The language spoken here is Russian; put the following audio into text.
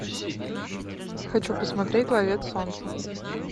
хочу посмотреть ловец солнца